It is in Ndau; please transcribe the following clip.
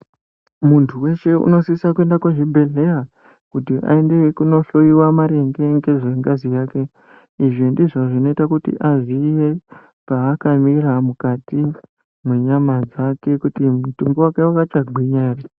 Muntu weshe unosisa kuenda kuzvi bhedhlera kuti aende kunohloyiwa maringe ngezve ngazi yake izvi ndizvo zvinoita kuti aziye paakamira mukati mwenyama dzake kuti mutumbi wakwe wakachakagwinya ere.